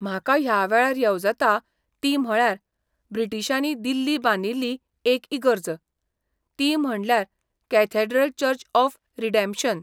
म्हाका ह्या वेळार येवजता ती म्हळ्यार, ब्रिटीशांनी दिल्ली बांदिल्ली एक इगर्ज, ती म्हणल्यार कॅथॅड्रल चर्च ऑफ रिडॅम्पशन.